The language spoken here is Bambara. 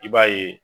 I b'a ye